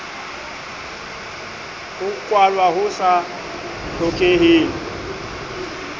ho kwalwa ho sa hlokeheng